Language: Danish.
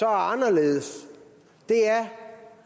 anderledes er